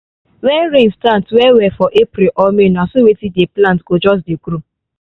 when rain start well well for april or may na so wetin dey plant go just dey grow